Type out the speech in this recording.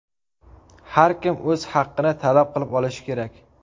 Har kim o‘z haqini talab qilib olishi kerak.